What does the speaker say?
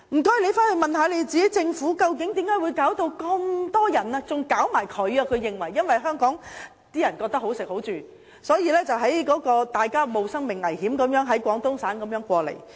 公安廳更認為他們都受到這個問題影響，因為那些人認為香港"好食好住"，所以便冒着生命危險從廣東省過來。